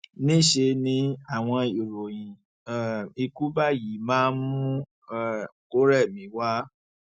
níṣẹ ni àwọn ìròyìn um ikú báyìí máa ń mú um kó rẹ mí wá